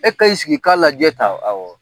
E ka i sigi i ka lajɛ tan